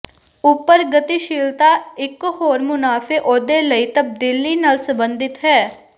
ਉਪਰ ਗਤੀਸ਼ੀਲਤਾ ਇੱਕ ਹੋਰ ਮੁਨਾਫ਼ੇ ਅਹੁਦੇ ਲਈ ਤਬਦੀਲੀ ਨਾਲ ਸੰਬੰਧਿਤ ਹੈ